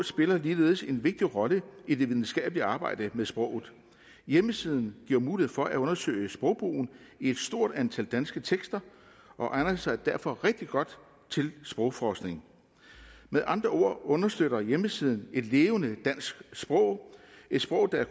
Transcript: spiller ligeledes en vigtig rolle i det videnskabelige arbejde med sproget hjemmesiden giver mulighed for at undersøge sprogbrugen i et stort antal danske tekster og egner sig derfor rigtig godt til sprogforskning med andre ord understøtter hjemmesiden et levende dansk sprog et sprog der